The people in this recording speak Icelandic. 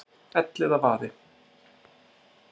Elliðavaði